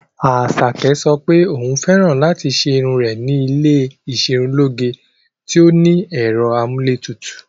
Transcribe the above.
Asake sọ pé òun fẹ́ràn láti ṣe irun rẹ̀ ní ilé iserunloge tí ó ní ẹ̀rọ amúlétutù.